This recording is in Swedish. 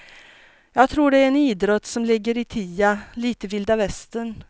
Jag tror det är en idrott som ligger i tiden, lite vilda västern.